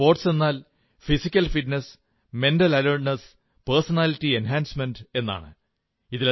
സ്പോർട്സെന്നാൽ physical fitness mental alertness personality enhancement എന്നാണ്